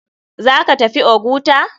Zaka tafi oguta?